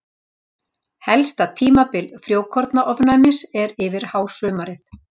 helsta tímabil frjókornaofnæmis er yfir hásumarið